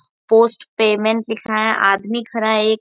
Post payment लिखा है। आदमी खड़ा है एक।